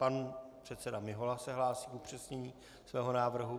Pan předseda Mihola se hlásí k upřesnění svého návrhu.